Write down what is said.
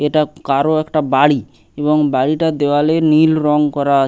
এটা কারো একটা বাড়ি এবং বাড়িটার দেওয়ালে নীল রং করা আ--